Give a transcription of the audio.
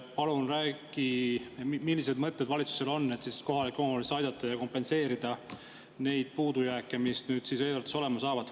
Palun räägi, millised mõtted valitsusel on, et kohalikke omavalitsusi aidata ja kompenseerida neid puudujääke, mis nüüd eelarvetes olema saavad.